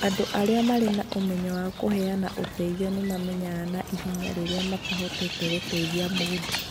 Andũ arĩa marĩ na ũmenyeru wa kũheana ũteithio nĩ mamenyaga na ihenya rĩrĩa matehotete gũteithia mũndũ.